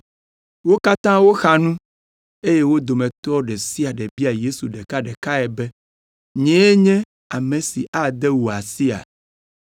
Wo katã woxa nu, eye wo dometɔ ɖe sia ɖe bia Yesu ɖekaɖekae be, “Nyee nye ame si ade wò asia?”